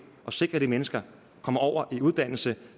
og sikrer at de mennesker kommer over i uddannelse